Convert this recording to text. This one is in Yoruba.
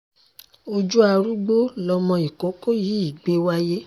ojú arúgbó lọmọ ìkókó yìí gbé wáyé